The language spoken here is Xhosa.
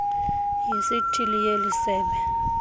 yesithili yeli sebe